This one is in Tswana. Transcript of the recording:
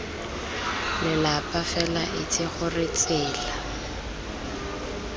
lelapa fela itse gore tsela